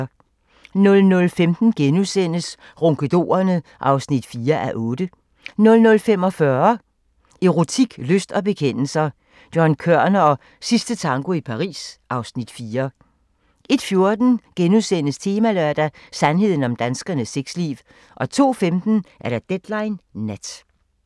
00:15: Ronkedorerne (4:8)* 00:45: Erotik, lyst og bekendelser – John Kørner og "Sidste tango i Paris" (Afs. 4) 01:14: Temalørdag: Sandheden om danskernes sexliv * 02:15: Deadline Nat